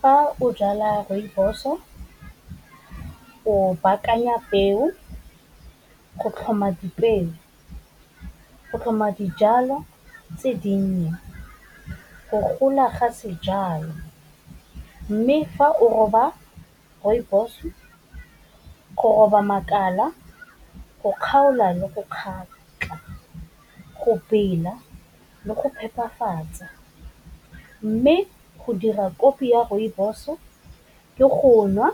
Fa o jala rooibos-o, o baakanya peo go tlhoma dipeo, go tlhoma dijalo tse dinnye, go gola ga sejalo, mme fa o roba rooibos go roba makala, go kgaola le go kgatlha, go bela le go phepafatsa. Mme go dira kofi ya rooibos-o ke go nwa,